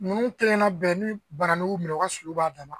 Ninnu kelen na bɛɛ ni bananku minɛ o ka sulu b'a dama